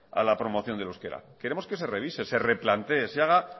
a la promoción del euskera queremos que se revise se replantee se haga